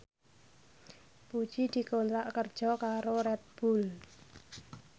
Puji dikontrak kerja karo Red Bull